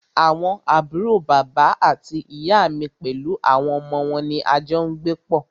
Àwọn àbúrò bàbá àti ìyá mí pẹlú àwọn ọmọ wọn ní a jọ n gbé pọ́.